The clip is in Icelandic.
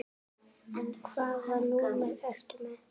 Hvaða númer ertu með?